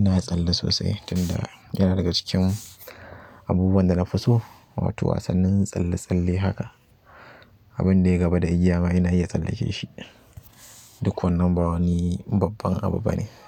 Ina tsalle sosai tun da yana daga cikin abubuwan da na fi so, wato wasannin tsalle-tsalle haka, abin da ya gaba da igiya ma ina iya tsallake shi. Duk wannan ba wani babban abu bane.